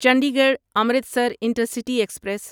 Chandigarh Amritsar intercity express